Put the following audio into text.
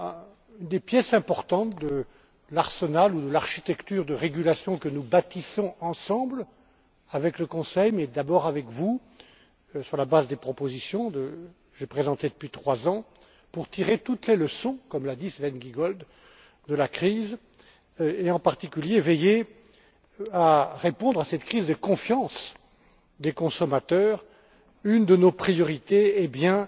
Ce sont là des pièces importantes de l'arsenal ou l'architecture de régulation que nous bâtissons ensemble, avec le Conseil, mais d'abord avec vous, sur la base des propositions que j'ai présentées depuis trois ans, pour tirer toutes les leçons, comme l'a dit Sven Giegold, de la crise et, en particulier, veiller à répondre à cette crise de confiance des consommateurs. Une de nos priorités est bien